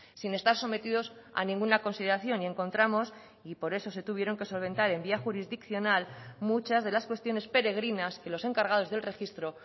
sin estar sometidos a ninguna consideración y encontramos y por eso se tuvieron que solventar en vía jurisdiccional muchas de las cuestiones peregrinas que los encargados del registro